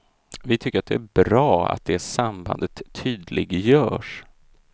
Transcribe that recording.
Vi tycker att det är bra att det sambandet tydliggörs.